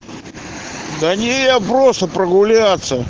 да не я просто прогуляться